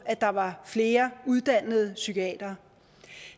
at der var flere uddannede psykiatere